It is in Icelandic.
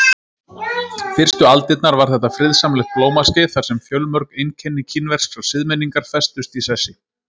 Fyrstu aldirnar var þetta friðsamlegt blómaskeið þar sem fjölmörg einkenni kínverskrar siðmenningar festust í sessi.